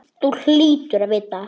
Þú hlýtur að vita það.